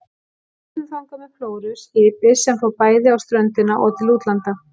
Við sigldum þangað með Flóru, skipi sem fór bæði á ströndina og til útlanda.